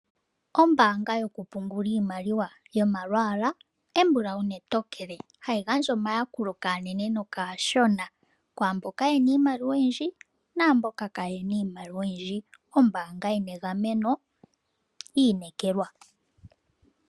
Ombaanga yo ku pungula iimaliwa yomalwaala embulawu netokele. Hayi gandja omayakulo kaanene nokaashona, kwaamboka ye na iimaliwa oyindji naamboka ka ye na iimaliwa oyindji. Ombaanga yi na egameno, yi inekekwa.